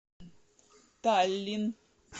таллин